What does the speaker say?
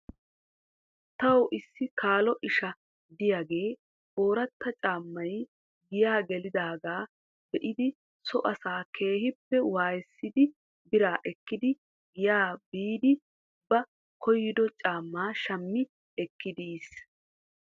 Tawu issi kaalo isha diyaagee ooratta caamay giyaa gelidaagaa be'idi so asaa keehippe waayissidi biraa ekkidi giyaa biidi ba koyido caamaa shami ekkidi yiis.